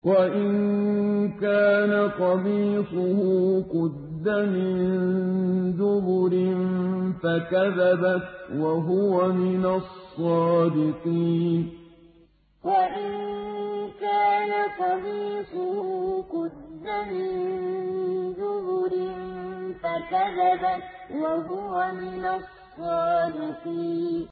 وَإِن كَانَ قَمِيصُهُ قُدَّ مِن دُبُرٍ فَكَذَبَتْ وَهُوَ مِنَ الصَّادِقِينَ وَإِن كَانَ قَمِيصُهُ قُدَّ مِن دُبُرٍ فَكَذَبَتْ وَهُوَ مِنَ الصَّادِقِينَ